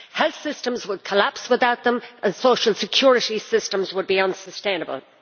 Health systems would collapse without them and social security systems would be unsustainable.